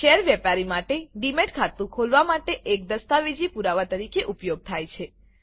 share વેપારી માટે demat ખાતું ખોલાવવા માટે એક દસ્તાવેજી પુરાવા તરીકે ઉપયોગ થાય છે